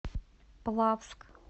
плавск